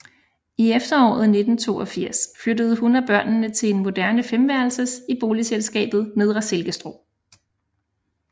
I efteråret 1982 flyttede hun og børnene til en moderne femværelsers i boligselskabet Nedre Silkestrå